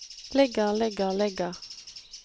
ligger ligger ligger